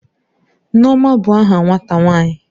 Nneoma bu aha nwata nwanyi.